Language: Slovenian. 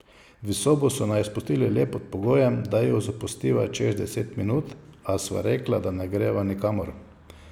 V sobo so naju spustili le pod pogojem, da jo zapustiva čez deset minut, a sva rekla, da ne greva nikamor.